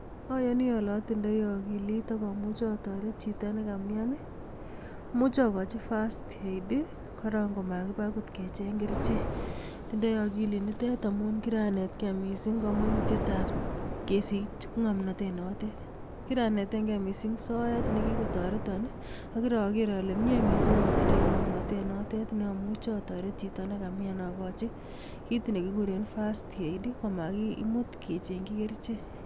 Ayooni ole otindoi akilit ak amuche atoret chito nekamyaan. Amuche okochi first aid koroong, komaakibaa okot kecheng kerichek, atindoi akilinitet amun kiranetgee missing komonutiet ab kesich ngomnotet notet. Kiranetengee missing soet nekikotoreton am kirokeer ale myee missing atindoi ng'omnotet note neomuche atoret chito nekamyaan akochi kit nekikuuren first aid komaakimut kecheengchii kerichek.